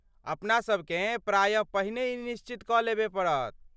अपना सभकेँ प्रायः पहिने ई निश्चित कऽ लेबय पड़त।